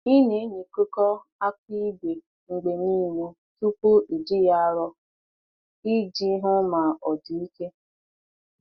Ị na-enyo nkekọ aka ígwè mgbe niile tupu iji ya arọ, iji hụ ma ọ dị ike.